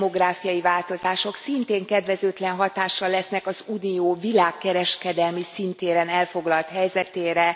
a demográfiai változások szintén kedvezőtlen hatással lesznek az Unió világkereskedelmi szintéren elfoglalt helyzetére.